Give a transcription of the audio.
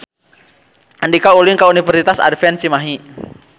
Andika ulin ka Universitas Advent Cimahi